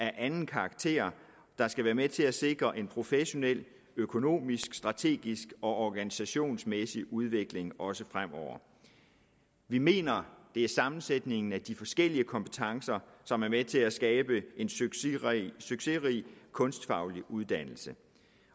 anden karakter der skal være med til at sikre en professionel økonomisk strategisk og organisationsmæssig udvikling også fremover vi mener det er sammensætningen af de forskellige kompetencer som er med til at skabe en succesrig succesrig kunstfaglig uddannelse